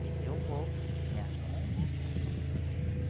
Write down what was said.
Aí eu vou, me arrumo.